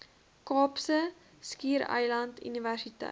kaapse skiereiland universiteit